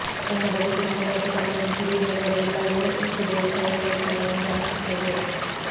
ತನ್ನ ಬದುಕಿನ ಹಳೆಯ ಪುಟಗಳನ್ನು ತಿರುವಿ ನೋಡಿದರೆ ಎಲ್ಲವೂ ಎಷ್ಟು ಬೇಗ ಕಳೆದು ಹೋಯಿತಲ್ಲಾ ಎಂದು ಅನಿಸುತ್ತದೆ